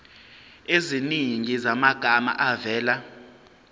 eziningi zamagama avela